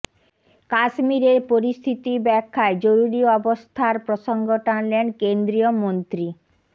কাশ্মীরের পরিস্থিতি ব্যাখ্যায় জরুরি অবস্থার প্রসঙ্গ টানলেন কেন্দ্রীয় মন্ত্রী